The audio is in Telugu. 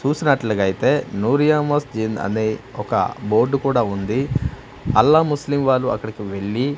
చూసినట్లుగా అయితే న్యూరియా మస్జిద్ అనే ఒక బోర్డు కూడా ఉంది. అల్లా ముస్లిం వాళ్ళు అక్కడికి వెళ్లి --